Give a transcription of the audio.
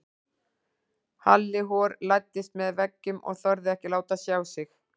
Halli hor læddist með veggjum og þorði ekki að láta sjá sig.